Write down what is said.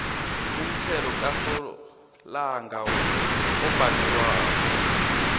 umthelo kasolanga obhadelwako